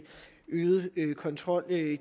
øget kontrol